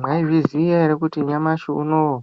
Maizviziva here kuti nyamashi unowu